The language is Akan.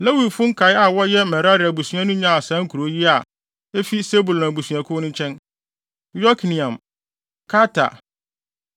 Lewifo nkae a wɔyɛ Merari abusua no nyaa saa nkurow yi a efi Sebulon abusuakuw no nkyɛn: Yokneam, Karta,